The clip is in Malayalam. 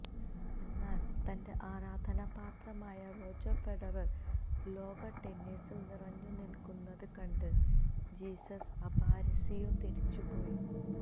എന്നാല് തന്റെ ആരാധനാപാത്രമായ റോജര് ഫെഡറര് ലോക ടെന്നീസില് നിറഞ്ഞുനില്ക്കുന്നത് കണ്ട് ജീസസ് അപാരിസിയോ തിരിച്ചുപോയി